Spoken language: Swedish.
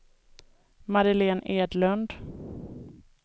Madeleine Edlund